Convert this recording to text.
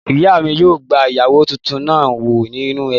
Ìyá mi yóò gba ìyàwó tuntun náà wọ inú ẹbí